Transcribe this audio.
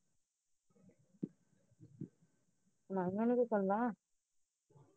ਆ ਜਾਣ ਗੇ ਚੰਗਾ